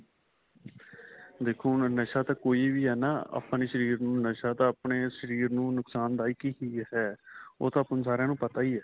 ਦੇਖੋ ਹੁਣ ਨਸਾਂ ਤਾਂ ਕੋਈ ਵੀ ਹੈ ਨਾ ਆਪਣੇ ਸ਼ਰੀਰ ਨੂੰ ਨਸਾਂ ਤਾਂ ਆਪਣੇ ਸ਼ਰੀਰ ਨੂੰ ਨੁਕਸ਼ਾਨ ਦਾਇਕ ਹੀ ਹੈ ਉਹ ਤਾਂ ਹੁਣ ਸਾਰਿਆ ਨੂੰ ਪਤਾ ਹੀ ਹੈ